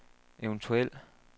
eventuel